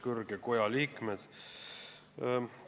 Kõrge koja liikmed!